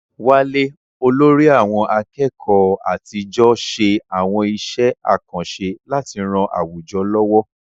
Wale, olórí àwọn akẹ́kọ̀ọ́ àtijọ́, ṣe àwọn iṣẹ́ àkànṣe láti ran àwùjọ lọ́wọ́.